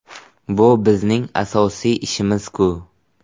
Bu bizning asosiy ishimiz-ku.